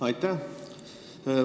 Aitäh!